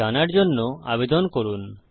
জানার জন্য আবেদন করুন